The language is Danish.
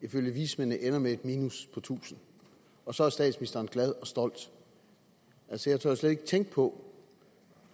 ifølge vismændene ender med et minus på tusind og så er statsministeren glad og stolt altså jeg tør slet ikke tænke på